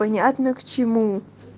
понятно к чему